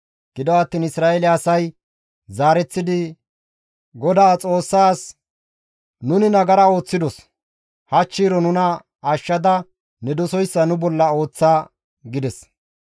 Gido attiin Isra7eele asay zaareththidi Godaa Xoossaa, «Nuni nagara ooththidos; hachchiiroo nuna ashshada ne dosoyssa nu bolla ooththa» gides.